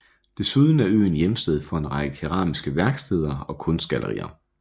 Desuden er øen hjemsted for en række keramiske værksteder og kunstgallerier